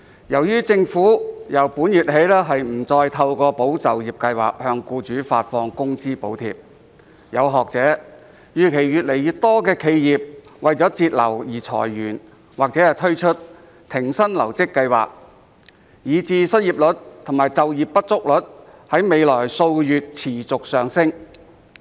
由於政府由本月起不再透過"保就業"計劃向僱主發放工資補貼，有學者預期越來越多企業為節流而裁員或推出停薪留職計劃，以致失業率及就業不足率在未來數月持續上升。